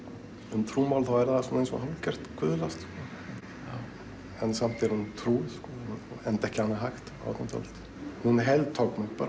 um trúmál er það eins og hálfgert guðlast en samt er hún trúuð enda ekki annað hægt á átjándu öld hún heltók mig bara